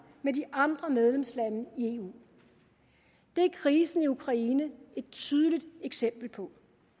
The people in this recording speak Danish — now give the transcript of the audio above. med de andre medlemslande i eu det er krisen i ukraine et tydeligt eksempel på